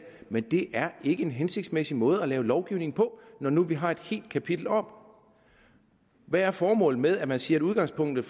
men det er ikke en hensigtsmæssig måde at lave lovgivning på når nu vi har et helt kapitel om hvad formålet er med at man siger at udgangspunktet